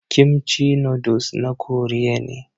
Kimchi noodles na Koriya ne.